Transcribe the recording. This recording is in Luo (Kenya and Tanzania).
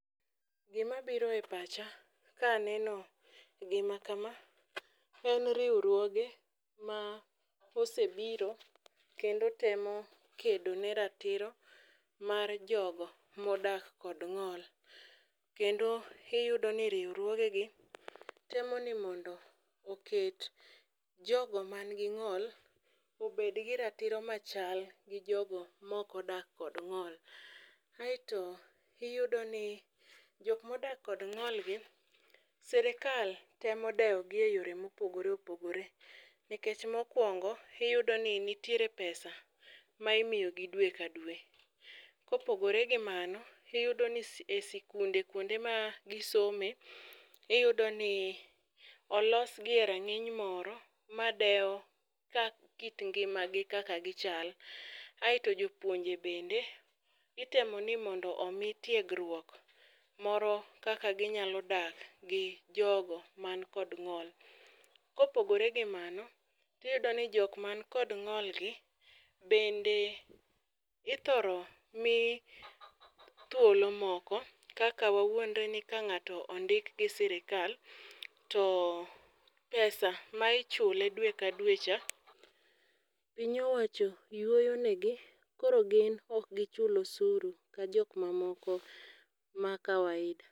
Gima biro e pacha, ka aneno gima kama en riwruoge ma osebiro kendo temo kedo ne ratiro mar jogo modak kod ng'ol. Kendo iyudo ni riwruogegi, temo ni mondo oket jogo man gi ng'ol obed gi ratiro machal gi jogo ma ok odak kod ng'ol. Aeto iyudo ni jok modak kod ng'olgi, serikal temo dewo gi e yore mopogore opogore. Nikech mokwongo, iyudo ni nitire pesa maimiyogi dwe ka dwe. Kopogore gimano, iyudo ni e sikunde kuonde ma gisome, iyudo ni olosgi e rang'iny moro ma dewo ka kit ngimagi kaka gichal. Aeto jopuonje bende, itemo ni mondo omi tiegruok moro, kaka ginyalo dak gi jogo man kod ng'ol. Kopogore gi mano, iyudo ni jok man kod ng'olgi bende ithoro mi thuolo moko. Kaka wawuondre ni ka ng'ato ondik gi sirikal, to pesa ma ichule dwe ka dwe cha, piny owacho yuoyo negi. Koro gin ok gichul osuru ka jok mamoko ma kawaida.